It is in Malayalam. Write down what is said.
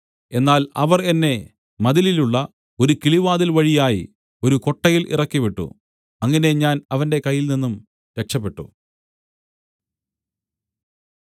എന്നാൽ അവർ എന്നെ മതിലിലുള്ള ഒരു കിളിവാതിൽ വഴിയായി ഒരു കൊട്ടയിൽ ഇറക്കിവിട്ടു അങ്ങനെ ഞാൻ അവന്റെ കൈയിൽനിന്നും രക്ഷപെട്ടു